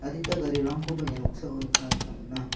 adita garirangkoba ia noksao nikna gita man·a.